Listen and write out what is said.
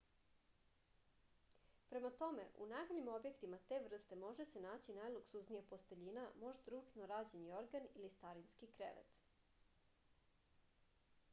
prema tome u najboljim objektima te vrste može se naći najluksuznija posteljina možda ručno rađen jorgan ili starinski krevet